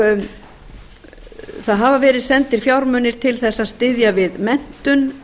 það hafa verið sendir fjármunir til að styðja við menntun